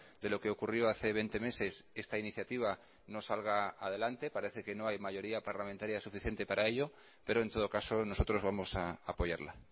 de lo que ocurrió hace veinte meses esta iniciativa no salga adelante parece que no hay mayoría parlamentaria suficiente para ello pero en todo caso nosotros vamos a apoyarla